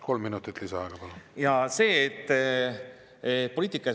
Kolm minutit lisaaega, palun!